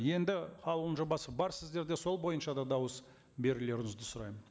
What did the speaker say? енді қаулының жобасы бар сіздерде сол бойынша да дауыс берулеріңізді сұраймын